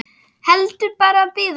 Heldur bara bíða.